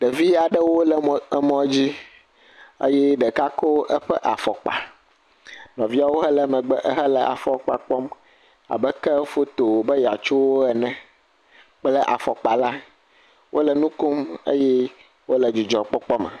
Ɖevi aɖewo le mɔ dzi, ke ɖeka kɔ eƒe afɔkpa, nɔviawo hele megbe ehele afɔkpa kpɔm abe ke efoto wòbe yeatso wo ene kple afɔkpa la, wole nu kom eye wole dzidzɔkpɔkpɔ me.